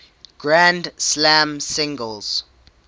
grand slam singles